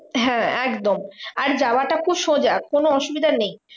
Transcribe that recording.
হ্যাঁ একদম আর যাওয়াটা খুব সোজা কোনো অসুবিধা নেই।